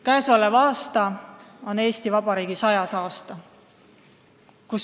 Käesolev aasta on Eesti Vabariigi 100. aasta.